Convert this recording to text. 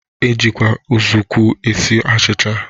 E jikwa ụzụọkụ esi achịcha.